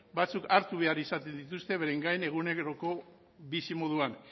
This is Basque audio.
batzuk hartu behar izaten dituzte beren gain eguneroko bizimoduan